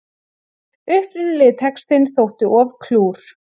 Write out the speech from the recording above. Upprunalegi textinn þótti of klúr